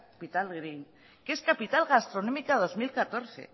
capital green que es capital gastronómica dos mil catorce